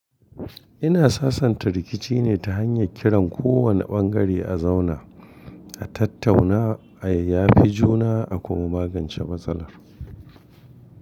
Ina sasanta rikici ne ta hanyar kiran kowane ɓangare a zauna, a tattauna, a yayyafi juna a kuma magance matsalar.